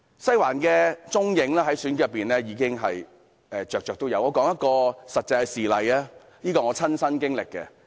"西環"在選舉中的蹤影比比皆是，讓我舉出一個真實事例，這是我的親身經歷。